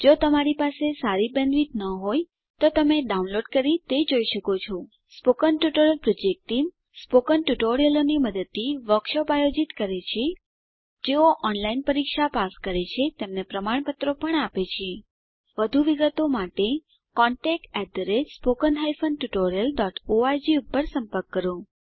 જો તમારી પાસે સારી બેન્ડવિડ્થ ન હોય તો તમે ડાઉનલોડ કરી તે જોઈ શકો છો સ્પોકન ટ્યુટોરીયલ પ્રોજેક્ટ ટીમ160 મૌખિક ટ્યુટોરીયલોનાં મદદથી વર્કશોપોનું આયોજન કરે છે જેઓ ઓનલાઈન પરીક્ષા પાસ કરે છે તેમને પ્રમાણપત્રો આપે છે વધુ વિગત માટે કૃપા કરી contactspoken tutorialorg પર સંપર્ક કરો